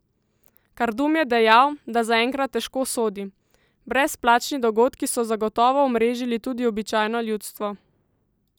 Kardum je dejal, da zaenkrat težko sodi: 'Brezplačni dogodki so zagotovo omrežili tudi običajno ljudstvo.